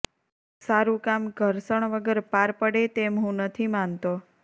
સારું કામ ઘર્ષણ વગર પાર પડે તેમ હું નથી માનતો